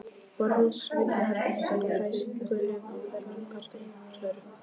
Borðið svignar undan kræsingunum á fermingardegi Klöru.